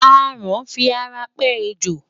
Aràn fi ara pẹ́ ejò.